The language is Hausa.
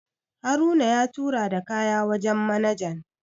Haruna ya tura da kaya wajen manajan